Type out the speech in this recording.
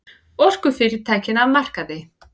Orkufyrirtækin af markaði